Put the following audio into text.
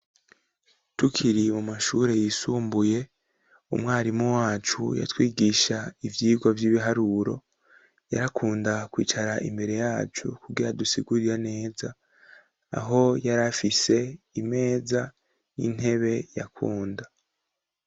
Tukiri mu mashure yisumbuye umwarimu wacu yatwigisha ivyigwa by'ibiharuro yarakunda kwicara imbere yacu kugera dusigurira neza aho yari afise imeza n'intebe yakunda.